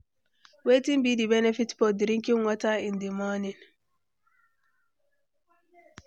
Wetin be di benefit for drinking water in di morning?